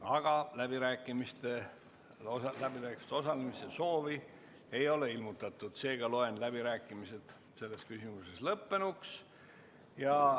Kuna läbirääkimistel osalemise soovi ei ole ilmutatud, loen läbirääkimised selles küsimuses lõppenuks.